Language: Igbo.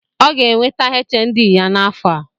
O ga-enweta HND ya n’afọ